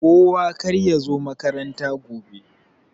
Kowa karya zo makaranta gobe.